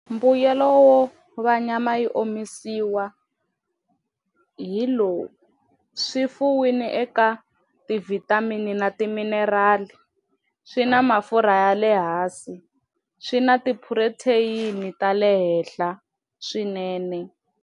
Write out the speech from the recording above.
Mbuyelo wo va nyama yi omisiwa hi lowu swi fumiwile eka ti vitamin na timinerali swi na mafurha ya le hansi swi na ti protein ta le henhla swinene.